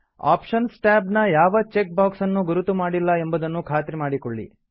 options tab ನ ಯಾವ check box ನ್ನೂ ಗುರುತು ಮಾಡಿಲ್ಲ ಎಂಬುದನ್ನು ಖಾತ್ರಿ ಮಾಡಿಕೊಳ್ಳಿ